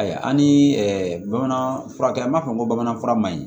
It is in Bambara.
Ayi ani bamananfurakɛla b'a fɔ ko bamanankan fura man ɲi